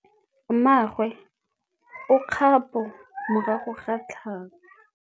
Mmagwe o kgapô morago ga tlhalô.